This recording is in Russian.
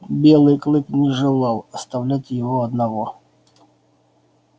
белый клык не желал оставлять его одного